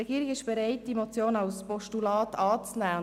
Die Regierung ist bereit, diese Motion als Postulat anzunehmen.